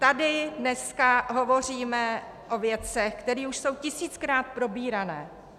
Tady dneska hovoříme o věcech, které už jsou tisíckrát probírané.